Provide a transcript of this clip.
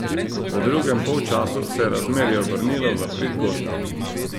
V drugem polčasu se je razmerje obrnilo v prid gostov.